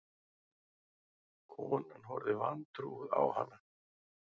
Konan horfði vantrúuð á hana.